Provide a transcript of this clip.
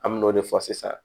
An me n'o de fɔ sisan